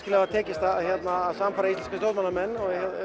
hafi tekist að sannfæra íslenska stjórnmálamenn